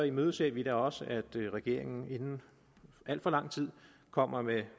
imødeser vi da også at regeringen inden alt for lang tid kommer med